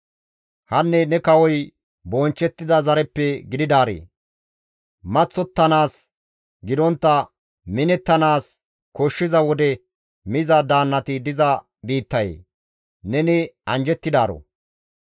Hanne ne kawoy bonchchettida zareppe gididaaree! maththottanaas gidontta minettanaas koshshiza wode miza daannati diza biittayee! Neni anjjettidaaro.